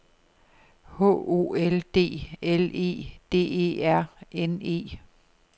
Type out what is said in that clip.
H O L D L E D E R N E